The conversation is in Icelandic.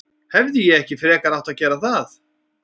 Hefði ég ekki frekar átt að gera það?